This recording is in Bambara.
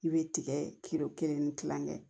I bɛ tigɛ kelen ni kilankɛ